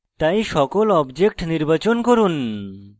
তাই সকল objects নির্বাচন করুন